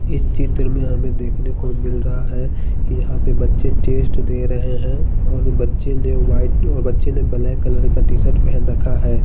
इस चित्र में हमें देखने को मिल रहा है कि यहां पे बच्चे टेस्ट दे रहे है और बच्चे ने वाइट और बच्चे ने ब्लैक कलर का टीशर्ट पहन रखा है।